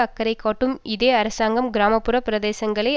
அக்கறை காட்டும் இதே அரசாங்கம் கிராம புற பிரதேசங்களை